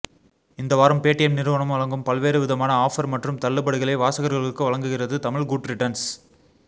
இந்த வாரம் பேடிஎம் நிறுவனம் வழங்கும் பல்வேறு விதமான ஆஃப்ர் மற்றும் தள்ளுபடிகளை வாசகர்களுக்கு வழங்குகிறது தமிழ் குட்ரிட்டன்ஸ்